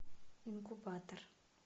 инкубатор